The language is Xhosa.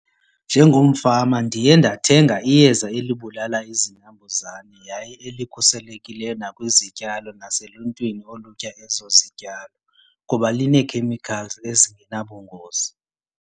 Njengomfama ndiye ndathenga iyeza elibulala izinambuzane yaye elikhuselekileyo nakwizityalo naseluntwini olutya ezo zityalo ngoba linee-chemicals ezingenabungozi.